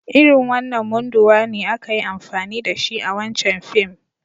Irin wanan munduwa ne aka yi amfani da shi a wancan fim.